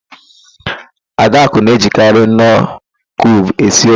Adakụ na-ejikarị nọọ kiub esi ofe.